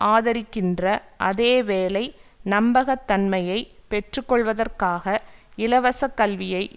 ஆதரிக்கின்ற அதே வேளை நம்பக தன்மையை பெற்று கொள்வதற்காக இலவசக் கல்வியை